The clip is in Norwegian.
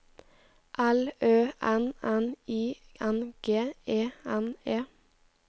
L Ø N N I N G E N E